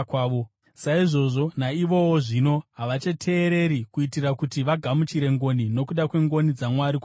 saizvozvo naivowo zvino havachateereri kuitira kuti vagamuchire ngoni nokuda kwengoni dzaMwari kwamuri.